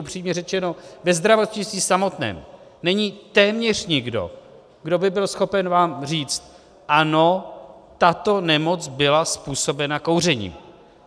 Upřímně řečeno, ve zdravotnictví samotném není téměř nikdo, kdo by byl schopen vám říct ano, tato nemoc byla způsobena kouřením.